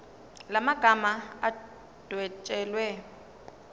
la magama adwetshelwe